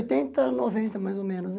De oitenta a noventa mais ou menos, né?